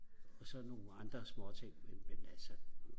og så nogle andre småting men men altså